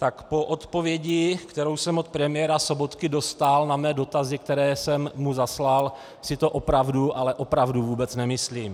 Tak po odpovědi, kterou jsem od premiéra Sobotky dostal na své dotazy, které jsem mu zaslal, si to opravdu, ale opravdu vůbec nemyslím.